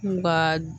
N ka